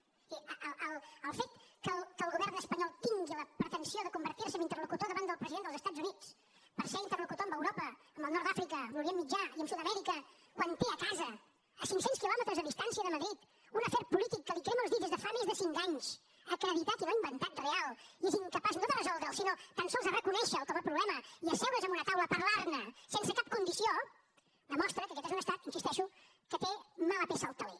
és a dir el fet que el govern espanyol tingui la pretensió de convertir se en interlocutor davant del president dels estats units per ser interlocutor amb europa amb el nord d’àfrica amb l’orient mitjà i amb sud amèrica quan té a casa a cinc cents quilòmetres de distància de madrid un afer polític que li crema els dits des de fa més de cinc anys acreditat i no inventat real i és incapaç no de resoldre’l sinó tan sols de reconèixer lo com a problema i asseure’s en una taula a parlar ne sense cap condició demostra que aquest és un estat hi insisteixo que té mala peça al teler